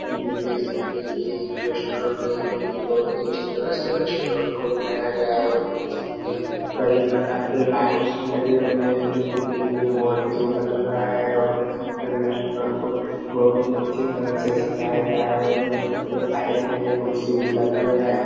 Clear देख सकते है ये एक रेस्ट्रोरेंट है जो की बहुत ही अच्छे तरह से रेस्टुरेंट को बनाया गया है आप देख सकते है कई प्रकार के लाइट्स लगे हुए है जो की देखने में बहुत ही सुन्दर लग रहा है और देख सकते है रेस्टुरेंट को बहुत ही अच्छी तरह से सजाया गया है और देख सकते है साइड में एक कुर्सी भी रखा गया है।